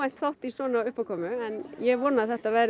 þátt í svona uppákomu en ég vona að þetta verði